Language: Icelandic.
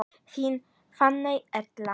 Þín Fanney Erla.